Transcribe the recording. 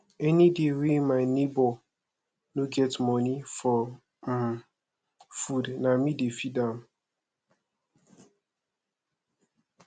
anyday wey my nebor no get moni for um food na me dey feed am